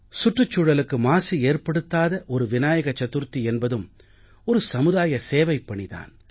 சுற்றுச் சூழலுக்கு மாசு ஏற்படுத்தாத ஒரு விநாயக சதுர்த்தி என்பதும் ஒரு சமுதாய சேவைப்பணி தான்